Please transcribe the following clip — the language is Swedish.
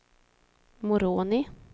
Moroni